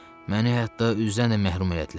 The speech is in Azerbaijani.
Məni hətta üzdən də məhrum elədilər.